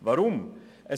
Weshalb dies?